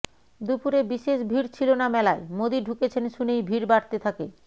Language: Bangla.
দুপুরে বিশেষ ভিড় ছিল না মেলায় মোদি ঢুকেছেন শুনেই ভিড় বাড়তে থাকে